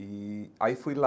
E aí fui lá.